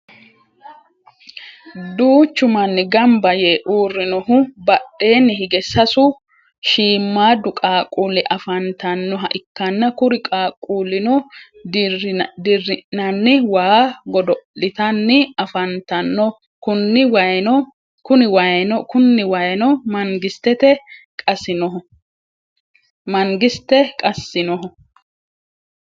duuchu manni ganba yee uurinohu badheenni higge sasu shiimaadu qaquuli afanitannoha ikanna kuri qaquulinno dri'nanni waa godo'litanni afantanno kunni wayino mangisitte qasinnoho.